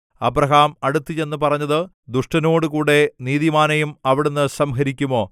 Abraham അടുത്തുചെന്ന് പറഞ്ഞത് ദുഷ്ടനോടുകൂടെ നീതിമാനെയും അവിടുന്നു സംഹരിക്കുമോ